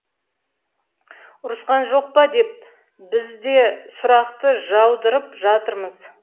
ұрысқан жоқ па деп біз де сұрақты жаудырып жатырмыз